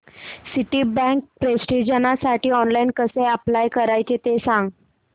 Citibank प्रेस्टिजसाठी online कसं apply करायचं ते सांग